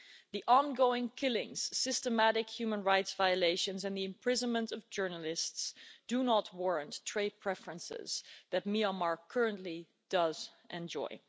The ongoing killings, systematic human rights violations and the imprisonment of journalists, do not warrant the trade preferences that Myanmar currently does enjoy.